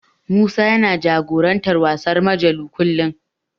Musa yana jagorantar wasan Majelo kullum.